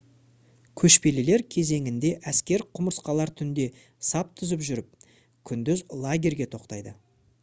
көшпелілер кезеңінде әскер құмырсқалар түнде сап түзіп жүріп күндіз лагерьге тоқтайды